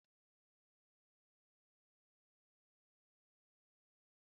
Gbalịa taa bị́sikití orio na mmiri ara ehi